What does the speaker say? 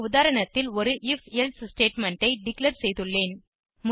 இந்த உதாரணத்தில் ஒரு if எல்சே ஸ்டேட்மெண்ட் ஐ டிக்ளேர் செய்துள்ளேன்